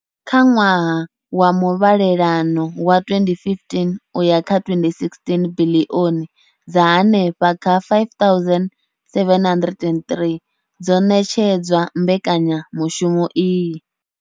Kha ṅwaha wa muvhalelano wa 2015 uya kha 2016, biḽioni dza henefha kha R5 703 dzo ṋetshedzwa mbekanya mushumo iyi.